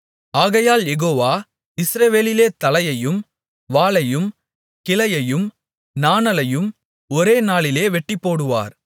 ஆகையால் யெகோவா இஸ்ரவேலிலே தலையையும் வாலையும் கிளையையும் நாணலையும் ஒரே நாளிலே வெட்டிப்போடுவார்